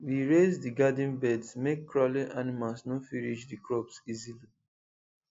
we raise the garden beds make crawling animals no fit reach the crops easily